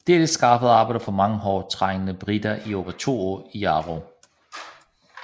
Dette skaffede arbejde for mange hårdt trængte briter i over 2 år i Jarrow